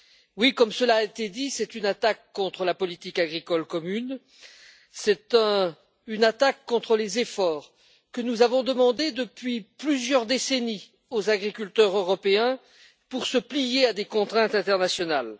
Oui, comme cela a été dit, c'est une attaque contre la politique agricole commune, c'est une attaque contre les efforts que nous avons demandés depuis plusieurs décennies aux agriculteurs européens pour se plier à des contraintes internationales.